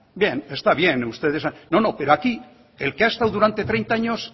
bien está bien no no pero aquí el que ha estado durante treinta años